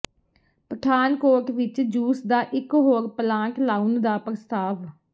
ਪਠਾਨਕੋਟ ਵਿੱਚ ਜੂਸ ਦਾ ਇਕ ਹੋਰ ਪਲਾਂਟ ਲਾਉਣ ਦਾ ਪ੍ਰਸਤਾਵ